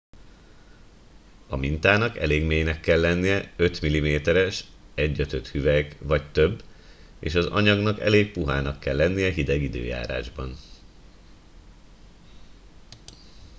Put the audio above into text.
a mintának elég mélynek kell lennie 5 mm-es 1/5 hüvelyk vagy több és az anyagnak elég puhának kell lennie hideg időjárásban